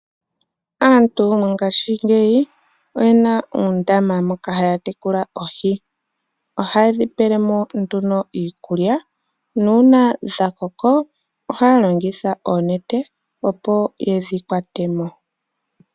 Aantu mongaashingeyi oyena uundama moka haya tekula oohi. Ohaye dhipele mo nduno iikulya nuuna dhakoko ohaya longitha oonete opo yedhikwatemo.